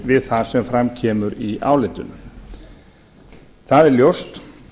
við það sem fram kemur í álitinu það er ljóst